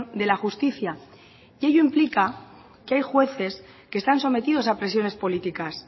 de la justicia ello implica que hay jueces que están sometidos a presiones políticas